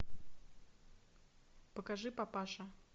покажи папаша